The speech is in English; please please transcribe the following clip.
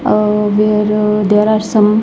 Ah where there are some.